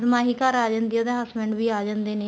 ਮਾਹੀ ਘਰ ਆ ਜਾਂਦੀ ਆ ਉਹਦੇ husband ਵੀ ਆ ਜਾਂਦੇ ਨੇ